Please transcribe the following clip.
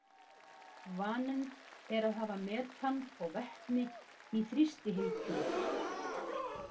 Vaninn er að hafa metan og vetni í þrýstihylkjum.